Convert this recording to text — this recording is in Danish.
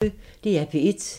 DR P1